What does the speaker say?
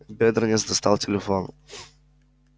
бедренец достал телефон